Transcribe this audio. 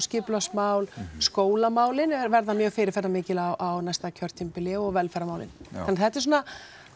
skipulagsmál skólamálin verða mjög fyrirferðamikil á næsta kjörtímabili og velferðarmálin já þannig þetta er svona